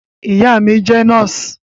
Ìyá mí jẹ nọ́ọ̀sì